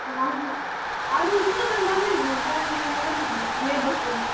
ಹ ಹ ಅದು ತುಂಬ ಜನ ಬಂದಿದ್ರು family ಎಲ್ಲ ಬಂದಿದ್ರು neighbours ಎಲ್ಲ.